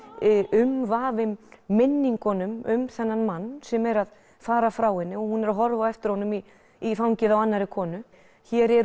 umvafin minningunum um þennan mann sem er að fara frá henni og hún er að horfa á eftir honum í í fangið á annarri konu hér er